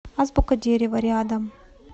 азбука дерева рядом